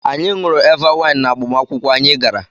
Anyị ṅụrụ Eva waịn n'agbamakwụkwọ anyị gara.